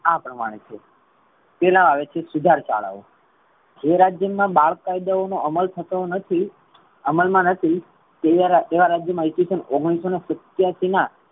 આ પ્રમાણે છે. પેલા આવે છે. સુધાર શાળાઓ જે રાજ્ય માં બાળ કાયદાઓ નો અમલ થતો નથી. અમલ મા નથી. તેવા રાજ્ય મા ઇસ વીસન ઓગણીસો સીત્યાસી મા